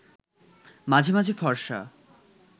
মাঝে মাঝে ফরসা